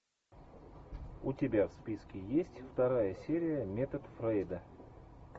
у тебя в списке есть вторая серия метод фрейда